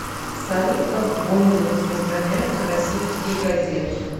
салют как в гомеле распространяются российские газеты